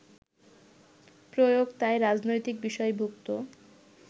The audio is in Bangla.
প্রয়োগ তাই রাজনৈতিক বিষয়ভুক্ত